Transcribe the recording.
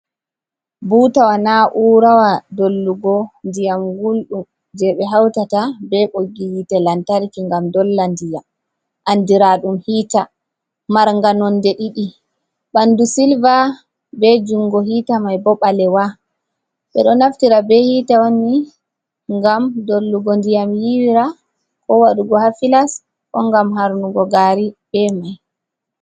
Butawa na'urawa dollugo ndiyam guldum je ɓe hautata ɓe ɓoggi hite lantarki ngam dolla ndiyam andiraɗum hiita marnga nonde ɗiɗi ɓanɗu silva be jungo hita mai bo ɓalewa ɓeɗo naftira ɓe hita manni ngam dollugo ndiyam yiwira ko waɗugo ha filas ko ngam harnugo gari be mai.